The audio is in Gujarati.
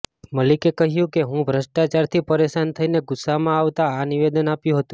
મલિકે કહ્યું કે હું ભ્રષ્ટાચારથી પરેશાન થઈને ગુસ્સામાં આ નિવેદન આપ્યું હતું